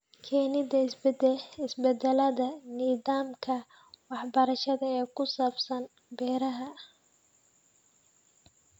Keenida isbedelada nidaamka waxbarashada ee ku saabsan beeraha.